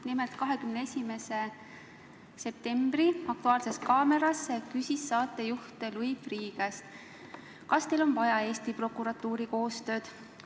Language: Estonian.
Nimelt, 21. septembri "Aktuaalses kaameras" küsis saatejuht Louis Freeh' käest: "Kas teil on vaja Eesti prokuratuuriga koostööd?